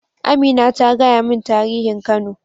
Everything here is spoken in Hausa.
Amina ta gaya min tarihin kano.